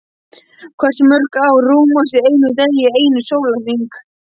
Hversu mörg ár rúmast í einum degi, einum sólarhring?